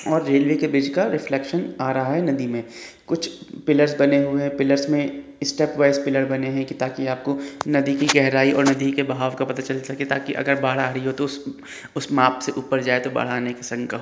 और रेलवे के ब्रिज का रिफ्लेशन आ रहा है नदी में कुछ पिलर बने हुए है पिलर में स्टेप वाईज पिलर बने हैं ताकि आपको नदी की गहराई और नदी की बहाव का पता चल सके ताकि बाढ़ आ रही हो तो उस माप से ऊपर जाए तो बाढ़ आने की शंका --